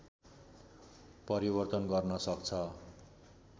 परिवर्तन गर्न सक्छ